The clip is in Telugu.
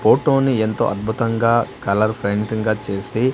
ఫోటో ని ఎంతో అద్భుతంగా కలర్ పెయింటింగ్ గా చేసి --